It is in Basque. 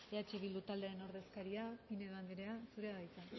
eh bildu taldearen ordezkaria pinedo anderea zurea da hitza